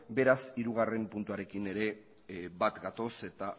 beraz hirugarren puntuarekin ere bat gatoz eta